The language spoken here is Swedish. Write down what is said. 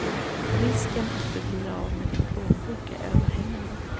Risken att du blir av med din plånbok är överhängande.